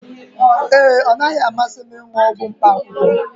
ee, ọ naghị amasị m ịṅụ ọgwụ mkpaakwụkwọ